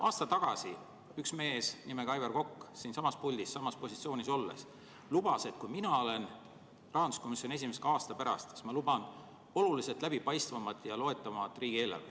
Aasta tagasi lubas üks mees nimega Aivar Kokk samas positsioonis siinsamas puldis olles, et kui ta on rahanduskomisjoni esimees ka aasta pärast, siis on riigieelarve oluliselt läbipaistvam ja loetavam.